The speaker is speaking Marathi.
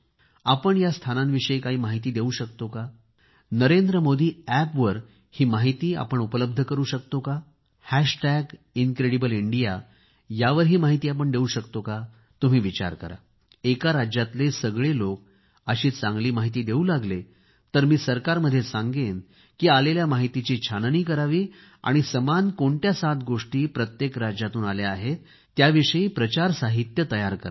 आपण या स्थानांविषयी काही माहिती देवू शकतो का नरेंद्र मोदी अॅपवर ही माहिती आपण उपलब्ध करू शकतो का हॅशटॅग इंनक्रेडिबलइंडिया यावर ही माहिती आपण देवू शकतो का तुम्ही विचार करा एका राज्यातले सगळे लोक अशी चांगली माहिती देवू लागले तर मी सरकारमध्ये सांगेन की आलेल्या माहितीची छाननी करावी आणि समान कोणत्या सात गोष्टी प्रत्येक राज्यातून आल्या आहेत त्याविषयी प्रचार साहित्य तयार करावे